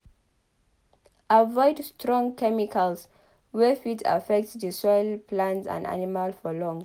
Avoid strong chemicals wey fit affect the soil plant and animal for long